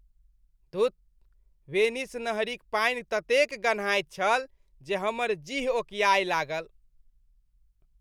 धुत, वेनिस नहरिक पानि ततेक गन्हाइत छल जे हमर जीह ओकिआए लागल।